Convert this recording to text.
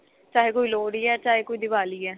ਚਾਹੇ ਕੋਈ ਲੋਹੜੀ ਏ ਚਾਹੇ ਕੋਈ ਦੀਵਾਲੀ ਏ